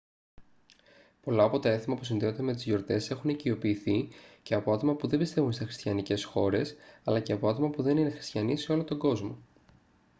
πολλά από τα έθιμα που συνδέονται με τις γιορτές έχουν οικειοποιηθεί και από άτομα που δεν πιστεύουν σε χριστιανικές χώρες αλλά και από άτομα που δεν είναι χριστιανοί σε όλο τον κόσμο